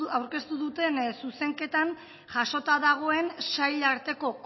aurkeztu duten zuzenketan jasota dagoen sailen arteko